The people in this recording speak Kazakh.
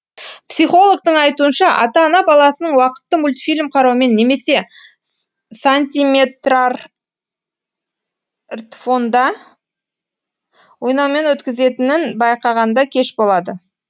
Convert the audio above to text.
психологтың айтуынша ата ана баласының уақытты мультфильм қараумен немесе сантиметрартфонда ойнаумен өткізетінін байқағанда кеш болады